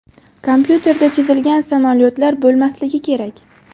Kompyuterda chizilgan samolyotlar bo‘lmasligi kerak.